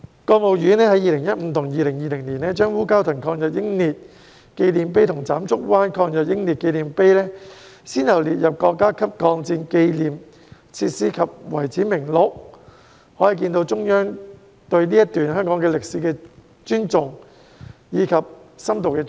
國務院在2015年和2020年，先後把烏蛟騰抗日英烈紀念碑和斬竹灣抗日英烈紀念碑列入國家級抗戰紀念設施、遺址名錄，可見中央對這段香港歷史的尊重和深度重視。